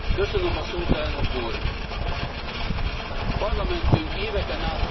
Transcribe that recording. Parlamentünk éveken át ostorozta a szolidaritás csökkentését.